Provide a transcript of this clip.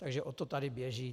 Takže o to tady běží.